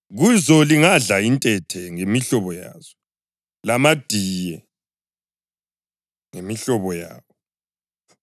Kuzo lingadla intethe ngemihlobo yazo, lamadiye ngemihlobo yawo.